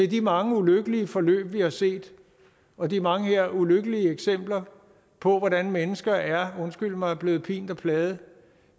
de mange ulykkelige forløb vi har set og de mange ulykkelige eksempler på hvordan mennesker er undskyld mig blevet pint og plaget